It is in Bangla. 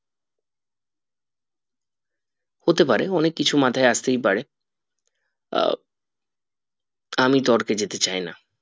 হতে পারে অনেক কিছু মাথায় আসতেই পারে আমি তর্কে যেতে চাইনা